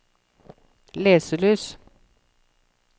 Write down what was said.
leselys